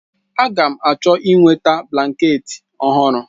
Agam achọ inweta blanketị ọhụrụ.